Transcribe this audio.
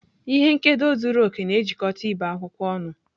Ihe nkedo zuru oke na-ejikọta ibe akwụkwọ ọnụ.